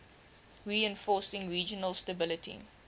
reinforcing regional stability